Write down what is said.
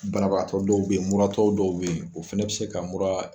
Banabagatɔ dɔw bɛ yen, muratɔ dɔw bɛ yen, o fɛnɛ bɛ se ka muraa.